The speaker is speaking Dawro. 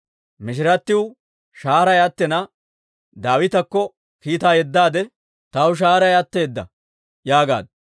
Mishiratiw shahaaray attina, Daawitakko kiitaa yeddaade, «Taw shahaaray atteedda» yaagaaddu.